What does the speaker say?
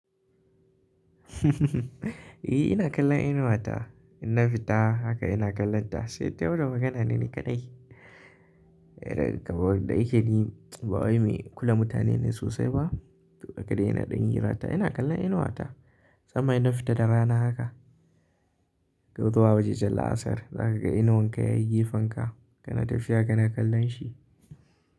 E, ina kallon inuwa ta. In na fita haka ina kallon ta, sai tayi wani magana ne ni kaɗai. Kamar da yake ni, ba wai mai kula mutane ne sosai ba. To haka dai ina ɗan hira ta, ina kallon inuwa ta. Daman in na fita da rana haka, zuwa wajejan la'asar za ka ga inuwan ka ya yi gefen ka. Kana tafiya kana kallon shi.